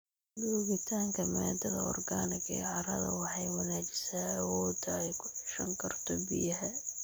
Joogitaanka maadada organic ee carrada waxay wanaajisaa awoodda ay ku ceshan karto biyaha.